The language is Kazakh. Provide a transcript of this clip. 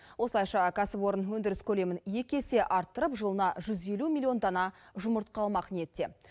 осылайша кәсіпорын өндіріс көлемін екі есе арттырып жылына жүз елу милллион дана жұмыртқа алмақ ниетте